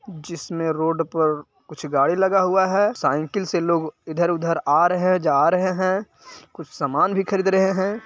जिसमे रोड पर कुछ गाड़ी लगा हुआ है | साईकिल से लोग इधर-उधर आ रहे हैं जा रहे है | कुछ सामान भी खरीद रहे हैं।